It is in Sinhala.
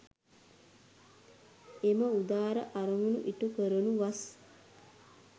එම උදාර අරමුණු ඉටු කරනු වස්